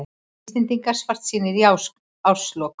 Íslendingar svartsýnir í árslok